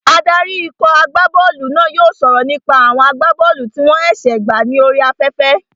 Adarí ikọ̀ agbá bọ́ọ̀lù náà yóò sọ̀rọ̀ nípa àwọn agbá bọ́ọ̀lù tí wọ́n ṣẹ̀ṣẹ̀ gbà ní orí afẹ́fẹ́